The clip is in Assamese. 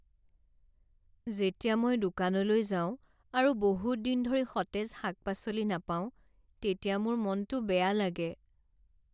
যেতিয়া মই দোকানলৈ যাওঁ আৰু বহুত দিন ধৰি সতেজ শাক পাচলি নাপাওঁ তেতিয়া মোৰ মনটো বেয়া লাগে।